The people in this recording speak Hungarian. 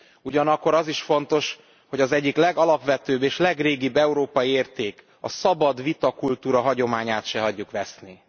Ugyanakkor az is fontos, hogy az egyik legalapvetőbb és legrégibb európai érték, a szabad vitakultúra hagyományát se hagyjuk veszni.